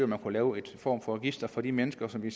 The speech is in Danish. man kunne lave en form for register for de mennesker som vi